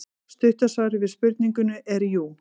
Stutta svarið við spurningunni er jú.